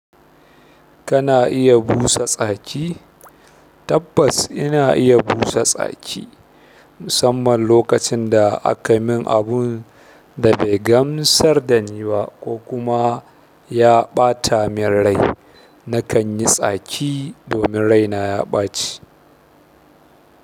Kana iya busa tsaki? Tabbas ina iya busa tsaki, musamman lokacin da aka min abun da bai gamsar da ni ba ko kuma ya ɓata min rai. Nakan yi tsaki domin rai na ya ɓaci.